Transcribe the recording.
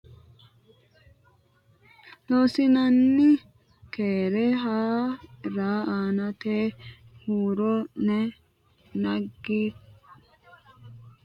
Loossinanni Keere Haa ra aantete huuro ne naggi Danchaho Loossinanni Keere Haa ra aantete huuro ne naggi Loossinanni Keere Haa.